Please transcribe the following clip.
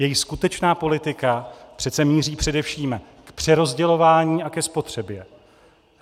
Jejich skutečná politika přece míří především k přerozdělování a ke spotřebě.